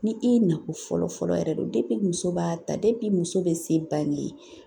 Ni i ye nakɔ fɔlɔ-fɔlɔ yɛrɛ muso b'a ta muso bɛ se bange